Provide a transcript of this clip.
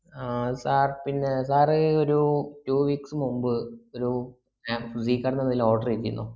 ആഹ് sir പിന്നെ sir ഒരു two weeks മുമ്പ് ഒരു order ചെയ്തീനോ